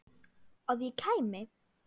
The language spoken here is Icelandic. Að ég kæmi?